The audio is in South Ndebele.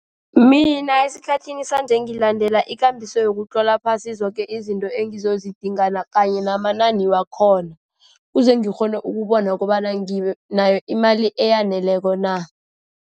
Mina esikhathini sanje, ngilandela ikambiso yokutlola phasi zoke izinto engizazidingana kanye namanani wakhona. Kuze ngikghona ukubona kobana nginayo imali eyaneleko na.